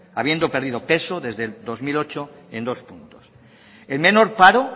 habiendo perdido peso desde el dos mil ocho en dos puntos el menor paro